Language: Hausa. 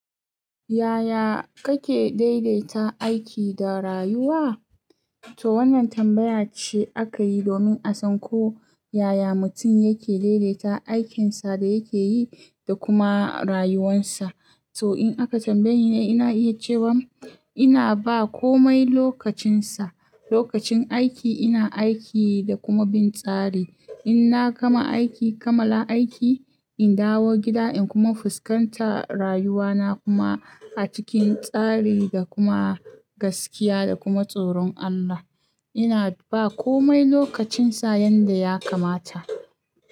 Yaya kake daidaita aiki da rayuwa? To wannan tambaya ce akayi domin a san ko yaya mutum yake daidaita aikinsa da yake yi da kuma rayuwarsa. To in aka tambaye ni, ina iya cewa ina ba komai lokacinsa. Lokacin aiki ina aiki da kuma bin tsari. Inna gama aiki, kamala aiki, in dawo gida in kuma fuskanta rayuwana kuma a cikin tsari da kuma gaskiya da kuma tsoron Allah. Ina bawa komai lokacinsa yadda ya kamata.